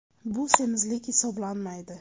Bu semizlik hisoblanmaydi.